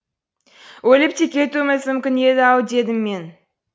өліп те кетуіміз мүмкін еді ау дедім мен